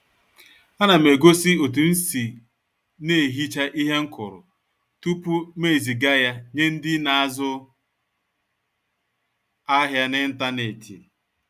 Á nà m egósí òtú m sì na-ehichá íhe m kụrụ tupu m ezìgá yá nyé ndị́ na-ázụ ahiá n'ịntanetị